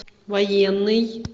военный